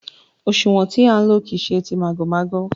Òṣúwọ̀n tí à ń lò kìí ṣe tí màgòmágó.